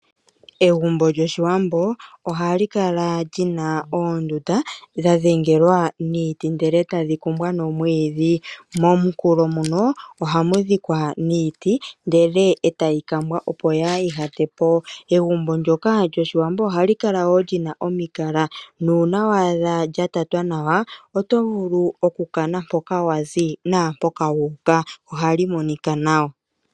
Egumbo lyOshiwambo ohali kala li na oondunda dha dhengelwa niiti ndele tadhi kumbwa nomwiidhi. Mooha ohamu dhikwa niiti, ndele e tayi kambwa, opo yaa ihate po. Egumbo ndyoka lyOshiwambo ohali kala wo li na omikala nuuna wa adha lya tatwa nawa, oto vulu okukana mpoka wa zi naampoka wu uka. Ohali monika nawa.